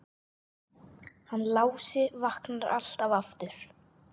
Hann Lási vaknar alltaf aftur.